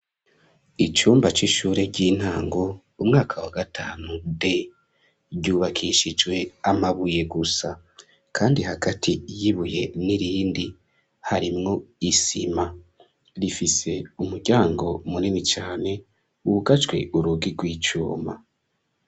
Icumba c'ishure ry'intango umwaka wa gatanu de ryubakishijwe amabuye gusa, kandi hagati yibuye n'irindi harimwo isima rifise umuryango umureni cane wugacwe urugi rw'icumba.